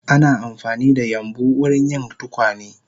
Ana amfanida yambu wurin yin tukwane